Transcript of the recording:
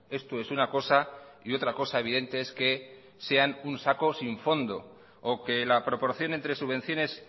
esto es una cosa y otra cosa evidente es que sean un saco sin fondo o que la proporción entre subvenciones